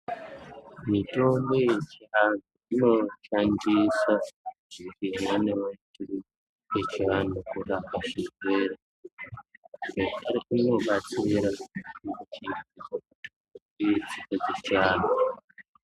Mitombo yechiantu inoshandisa zvimweniwo zvechiwantu kurapa zvirwere zvekare inobatsira muchi ii idzi dzechianhu.